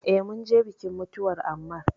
Eh, mun je bikin mutuwar Ammar